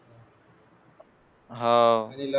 हाव